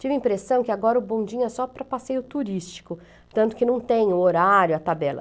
Tive a impressão que agora o bondinho é só para passeio turístico, tanto que não tem o horário, a tabela.